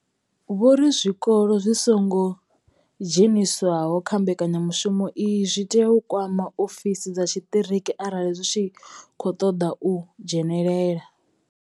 Vho ri zwikolo zwi songo dzheniswaho kha mbekanyamushumo iyi zwi tea u kwama ofisi dza tshiṱiriki arali zwi tshi khou ṱoḓa u dzhenela.